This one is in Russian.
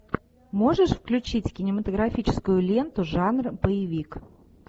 можешь включить кинематографическую ленту жанр боевик